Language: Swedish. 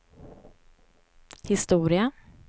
historia